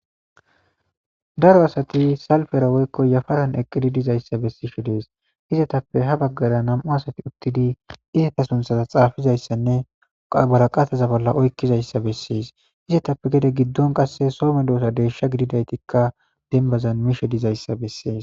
daro asati salifera woykko yafaran eqqidi dizayssa bessishe dees izetappe ha baggara nam7u asati uttidi izata sunthaza xaafizayssanne qabaraqataza bolla oykkizayssa bessees izetappe gede giddon qasse soome doota deesha gididaytikka denbazan mishe dizayssa bessees